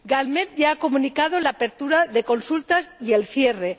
Galmed ya ha comunicado la apertura de consultas y el cierre.